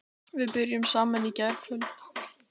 Við byrjuðum saman í gærkvöld.